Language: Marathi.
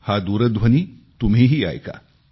हा दूरध्वनी तुम्हीही ऐका